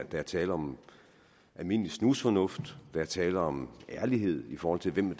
er tale om almindelig snusfornuft der er tale om ærlighed i forhold til hvem